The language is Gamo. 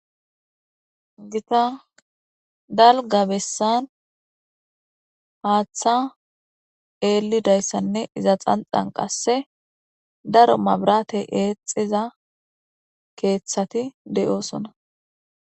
gita dalga bessan haaththa eelidayssanne iza xanxan qasse daro mabrate eexiza keeththati de7oosona